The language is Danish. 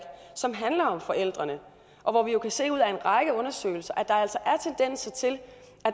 som handler om forældrene og hvor vi jo kan se ud af en række undersøgelser at der altså